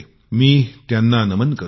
मी त्यांना नमन करतो